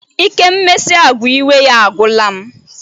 Ike mmesi agwa iwe ya agwụla m.